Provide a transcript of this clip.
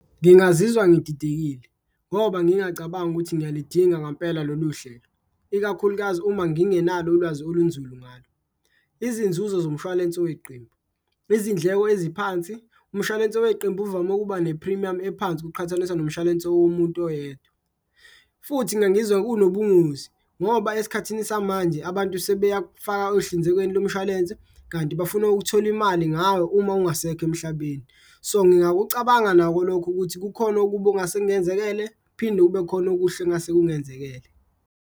Ngingazizwa ngididekile ngoba ngingacabangi ukuthi ngiyalidinga ngampela lolu hlelo ikakhulukazi uma ngingenalo ulwazi olunzulu ngalo. Izinzuzo zomshwalense weqembu, izindleko eziphansi, umshwalense weqembu uvame ukuba ne-phrimiyamu ephansi ukuqhathaniswa nomshwalense womuntu oyedwa. Futhi ngangizwa kunobungozi ngoba esikhathini samanje abantu sebeyakufaka ekuhlinzekweni lomshwalense kanti bafuna ukuthola imali ngawe uma ungasekho emhlabeni. So, ngingakucabanga nako lokho ukuthi kukhona okubi ongase kungenzekele, kuphinde kube khona okuhle okungase kungenzekele.